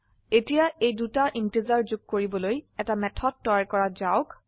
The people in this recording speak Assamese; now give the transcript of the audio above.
এতিয়া এই দুটা ইন্টিজাৰ যোগ কৰিবলৈ এটা মেথড তৈয়াৰ কৰা যাওক